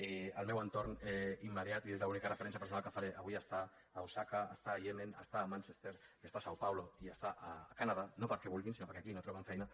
i el meu entorn immediat i és l’única referència personal que faré avui està a osaka està al iemen està a manchester i està a são paulo i està al canadà no perquè vulguin sinó perquè aquí no troben feina